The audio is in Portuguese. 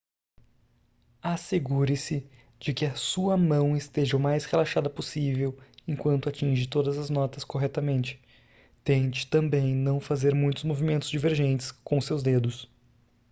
assegure-se de que a sua mão esteja o mais relaxada possível enquanto atinge todas as notas corretamente tente também não fazer muitos movimentos divergentes com seus dedos